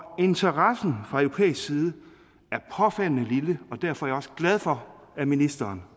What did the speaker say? og interessen fra europæisk side er påfaldende lille derfor er jeg også glad for at ministeren